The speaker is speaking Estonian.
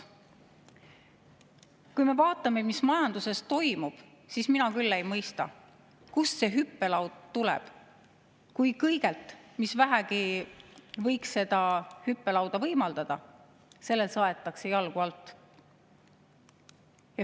Kui me vaatame, mis majanduses toimub, siis mina küll ei mõista, kust see hüppelaud tuleb, kui kõigelt, mis vähegi võiks seda hüppelauda võimaldada, saetakse jalgu alt.